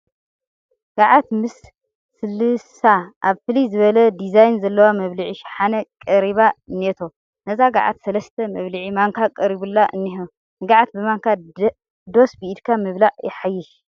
ገዓት ምስ ስልሳ ኣብ ፍልይ ዝበለ ዲዛይን ዘለዎ መብልዒ ሸሓነ ቀሪባ እኔቶ፡፡ ነዛ ገዓት ሰለስተ መብልዒ ማንካ ቀሪቡላ እኒሀ፡፡ ንገዓት ብማንካ ዶስ ብኢድካ ምብላዕ የሕይሽ?